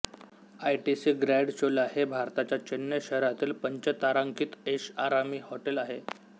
ITC grand Chola हे भारताच्या चेन्नई शहरातील पंचतारांकित ऐषआरामी हॉटेल आहे